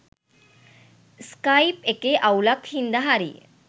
Skype එකේ අවුලක් හින්දා හරිය.